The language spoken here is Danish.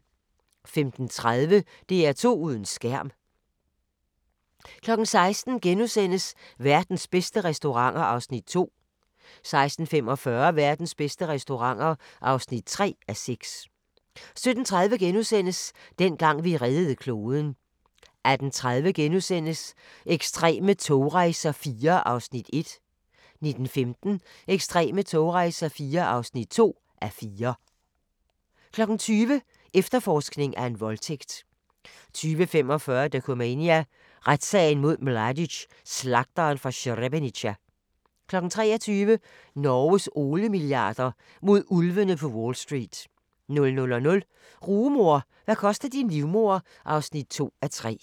15:30: DR2 uden skærm 16:00: Verdens bedste restauranter (2:6)* 16:45: Verdens bedste restauranter (3:6) 17:30: Dengang vi reddede kloden * 18:30: Ekstreme togrejser IV (1:4)* 19:15: Ekstreme togrejser IV (2:4) 20:00: Efterforskning af en voldtægt 20:45: Dokumania: Retssagen mod Mladic – Slagteren fra Srebrenica 23:00: Norges oliemilliarder – mod ulvene på Wall St. 00:00: Rugemor – hvad koster din livmoder? (2:3)